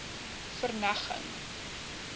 verneging